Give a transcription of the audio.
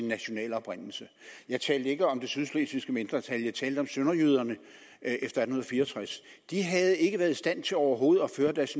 nationale oprindelse jeg talte ikke om det sydslesvigske mindretal jeg talte om sønderjyderne efter atten fire og tres de havde ikke været i stand til overhovedet at føre deres